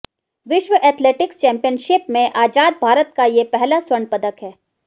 विश्व athletics championship में आज़ाद भारत का ये पहला स्वर्ण पदक है